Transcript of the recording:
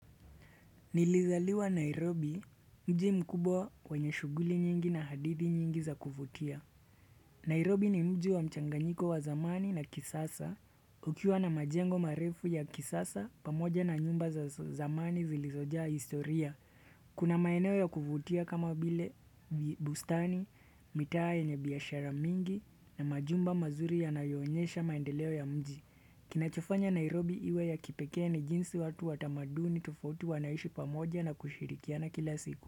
Nilizaliwa Nairobi mji mkubwa wenye shuguli nyingi na hadithi nyingi za kuvutia Nairobi ni mji wa mchanganyiko wa zamani na kisasa Ukiwa na majengo marefu ya kisasa pamoja na nyumba za zamani zilizojaa historia Kuna maeneo ya kuvutia kama vile bustani, mitaa yenye biashara mingi na majumba mazuri yanayoonyesha maendeleo ya mji Kinachofanya Nairobi iwe ya kipekee ni jinsi watu wa tamaduni tofauti wanaishi pamoja na kushirikiana kila siku.